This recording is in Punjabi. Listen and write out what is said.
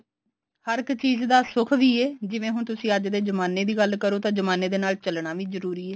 ਹਰ ਇੱਕ ਚੀਜ਼ ਦਾ ਸੁੱਖ ਵੀ ਐ ਜਿਵੇਂ ਹੁਣ ਤੁਸੀਂ ਅੱਜ ਦੇ ਜਮਾਨੇ ਦੀ ਗੱਲ ਕਰੋ ਤਾਂ ਜਮਾਨੇ ਦੇ ਨਾਲ ਚੱਲਣਾ ਵੀ ਜਰੂਰੀ ਐ